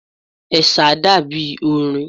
Ẹ̀sà dàbí orin.